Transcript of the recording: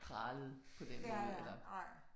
Pralede på den måde eller